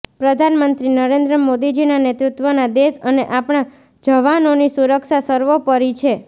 પ્રધાનમંત્રી નરેન્દ્ર મોદીજીના નેતૃત્વમાં દેશ અને આપણા જવાનોની સુરક્ષા સર્વોપરિ છે